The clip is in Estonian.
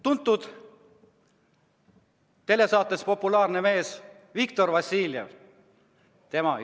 Tuntud telesaatest populaarne mees Viktor Vassiljev!